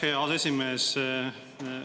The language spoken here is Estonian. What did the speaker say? Aitäh, hea aseesimees!